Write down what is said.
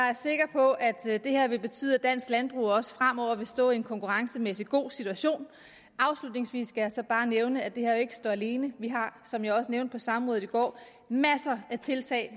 er sikker på at det her vil betyde at dansk landbrug også fremover vil stå i en konkurrencemæssigt god situation afslutningsvis skal jeg så bare nævne at det her jo ikke står alene vi har som jeg også nævnte på samrådet i går masser af tiltag